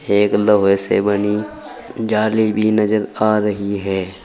एक लोहे से बनी जाली भी नजर आ रही है।